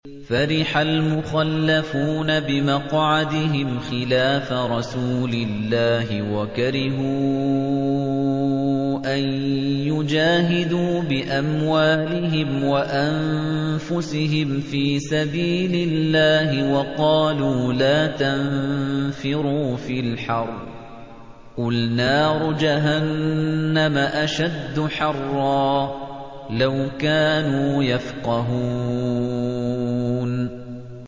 فَرِحَ الْمُخَلَّفُونَ بِمَقْعَدِهِمْ خِلَافَ رَسُولِ اللَّهِ وَكَرِهُوا أَن يُجَاهِدُوا بِأَمْوَالِهِمْ وَأَنفُسِهِمْ فِي سَبِيلِ اللَّهِ وَقَالُوا لَا تَنفِرُوا فِي الْحَرِّ ۗ قُلْ نَارُ جَهَنَّمَ أَشَدُّ حَرًّا ۚ لَّوْ كَانُوا يَفْقَهُونَ